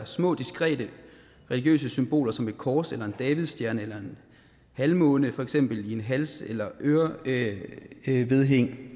små diskrete religiøse symboler som et kors en davidsstjerne eller en halvmåne for eksempel i et hals eller ørevedhæng